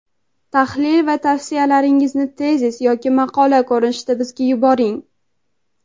tahlil va tavsiyalaringizni tezis yoki maqola ko‘rinishida bizga yuboring.